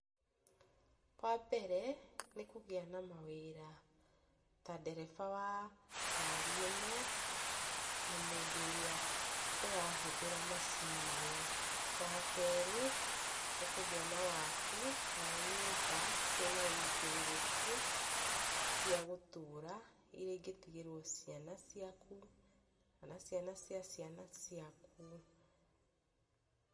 Wa mbere nĩ kũgĩa na mawĩra ya ndereba wa ngari ĩno na mũndũ ũrĩa ũrahũthĩra macini ĩyo, wa kerĩ nĩ kũgĩa na waki wa nyũmba ciĩna wũigĩrĩriki cia gũtũra iria ingĩtigĩrwo ciana ciaku kana ciana cia ciaku.